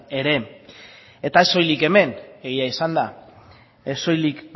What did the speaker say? ere eta ez soilik hemen egia esanda ez soilik